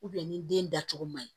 ni den dacogo man ɲi